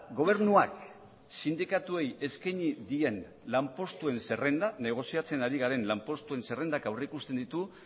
gobernuak sindikatuei eskaini dien lanpostuen zerrenda negoziatzen ari garen lanpostuen zerrendak aurrikusten ditu